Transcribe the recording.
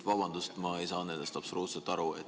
Vabandust, aga ma ei saanud nendest absoluutselt aru.